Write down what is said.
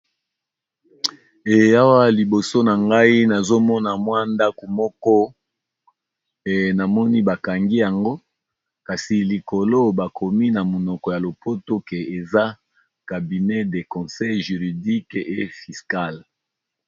Eh Awa liboso na ngai nazo mona mwa ndaku moko, na moni bakangi yango kasi likolo bakomi na monoko ya lopoto ke eza Cabinet de conseil juridique et fiscale.